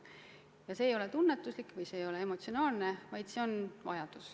Ja see ei ole tunnetuslik, emotsionaalne soov, see on vajadus.